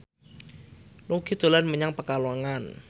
Nugie dolan menyang Pekalongan